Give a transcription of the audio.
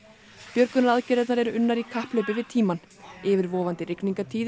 björgunaraðgerðirnar eru unnar í kapphlaupi við tímann yfirvofandi